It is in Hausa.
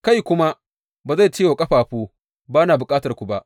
Kai kuma ba zai ce wa ƙafafu, Ba na bukatarku ba!